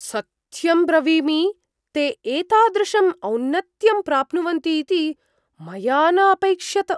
सत्यं ब्रवीमि, ते एतादृशम् औनत्यं प्राप्नुवन्तीति मया न अपैक्ष्यत।